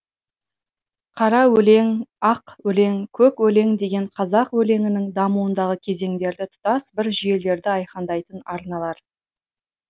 қара өлең ақ өлең көк өлең деген қазақ өлеңінің дамуындағы кезеңдерді тұтас бір жүйелерді айқындайтын арналар